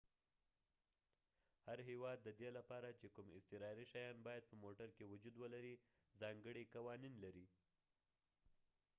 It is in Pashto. هر هیواد ددې لپاره چي کوم اضطراري شیان باید په موټر کې وجود ولري ځانګړي قوانین لري